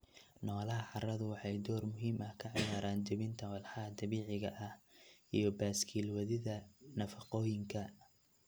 Noolaha carradu waxay door muhiim ah ka ciyaaraan jebinta walxaha dabiiciga ah iyo baaskiil wadida nafaqooyinka.